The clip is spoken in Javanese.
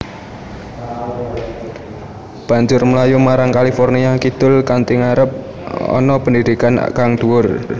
Banjur mlayu marang California kidul kanthi ngarep arep pendhidhikan kang dhuwur